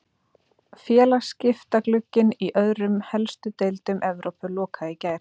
Félagaskiptaglugginn í öðrum helstu deildum Evrópu lokaði í gær.